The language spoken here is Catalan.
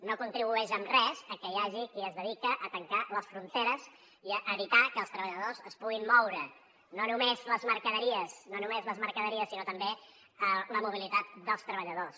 no hi contribueix en res que hi hagi qui es dedica a tancar les fronteres i a evitar que els treballadors es puguin moure no només les mercaderies no només les mercaderies sinó també la mobilitat dels treballadors